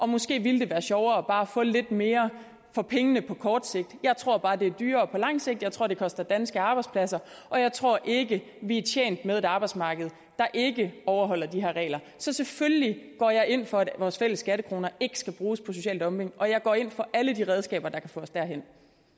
måske ville være sjovere bare at få lidt mere for pengene på kort sigt jeg tror bare det er dyrere på lang sigt jeg tror det koster danske arbejdspladser og jeg tror ikke vi er tjent med et arbejdsmarked der ikke overholder de her regler så selvfølgelig går jeg ind for at vores fælles skattekroner ikke skal bruges på social dumping og jeg går ind for alle de redskaber der kan få os derhen